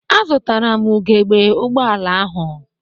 Azụtaram ugegbe ụgbọala ahụ.